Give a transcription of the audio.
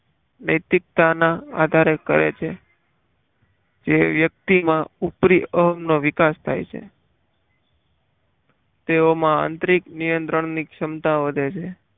નૈતિકતાના આધારે કરે છે જે વ્યક્તિમાં ઉપરી અહમનો વિકાસ થાય છે તેઓમાં આંતરિક નિયંત્રણની ક્ષમતા વધે છે.